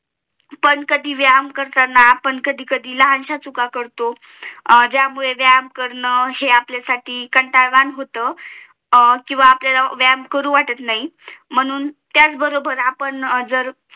पण कधी व्यायाम करिताना आपण कधी कधी लहानश्या चुका करतो ज्यमुळे व्यायाम कारण हे आपल्यासाठी कंटाळवाणं होत किंवा आपल्याला व्यायाम करू वाटत नाही म्हणून त्याच बरोबर आपण जर